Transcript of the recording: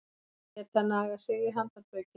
Geta nagað sig í handarbökin